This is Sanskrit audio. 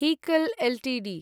हिकल् एल्टीडी